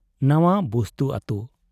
ᱱᱟᱣᱟ ᱵᱩᱥᱛᱩ ᱟᱹᱛᱩ ᱾